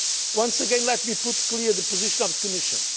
Once again, let me make clear the position of the Commission.